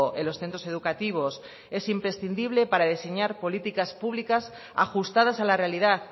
en los centros educativos es imprescindible para diseñar políticas públicas ajustadas a la realidad